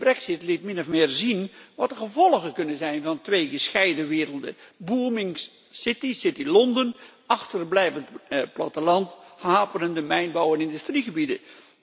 De Brexit liet min of meer zien wat de gevolgen kunnen zijn van twee gescheiden werelden booming city Londen, achterblijvend platteland en haperende mijnbouw en industriegebieden.